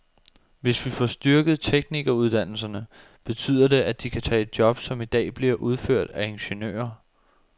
Hvis vi får styrket teknikeruddannelserne, betyder det, at de kan tage job, som i dag bliver udført af ingeniører.